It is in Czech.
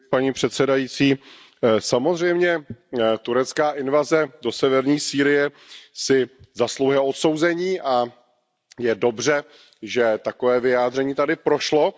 Paní předsedající, samozřejmě turecká invaze do severní Sýrie si zasluhuje odsouzení a je dobře, že takové vyjádření tady prošlo.